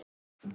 Spáið í það!